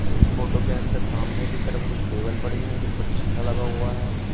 इस फोटो के अंदर सामने की तरफ कुछ टेबल पड़ी हैं जिन पर शीशा लगा हुआ है।